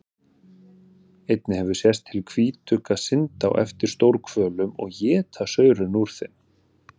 Einnig hefur sést til hvítugga synda á eftir stórhvölum og éta saurinn úr þeim.